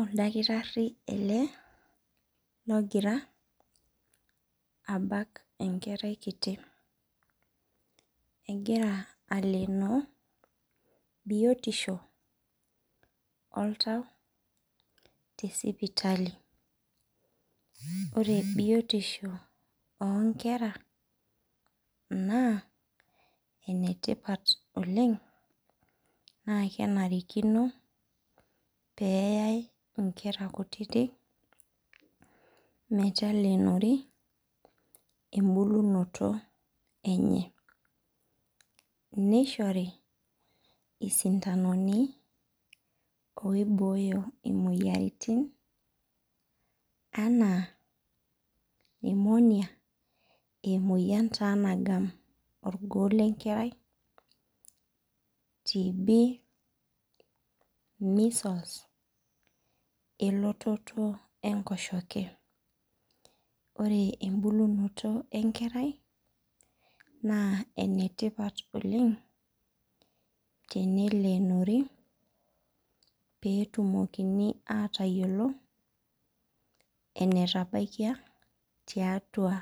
Ildakitari era logira abak enkerai kiti. egira aleno biotisho oltau tesipitali. Ore biotisho oo nkera naa enetipat oleng' naa kenarikino pee eyai inkera kutiti pelenori ebulunoto enye. Nishori isintanoni oiboyo imoyiaritin enaa pneumonia emoyian taa nagam orgoo lenkerai TB measles elototo enkoshoke. Ore ebulunoto ee nkerai naa enetipat oleng' tenelonori petumokini atayiolo enetabaikia tiatua